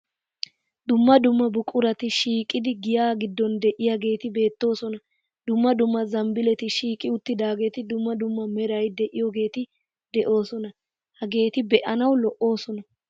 Dumma dumma buqurati shiiqidi giya giddon de'iyageeti beettoosona. Dumma dumma zambbiileti shiiqi uttidaageeti dumma dumma meray de'iyogeeti de'oosona. Hageeti be'anawu lo"oosona.